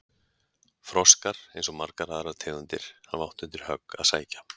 Froskar, eins og margar aðrar tegundir, hafa átt undir högg að sækja.